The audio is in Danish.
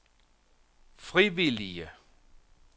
frivillige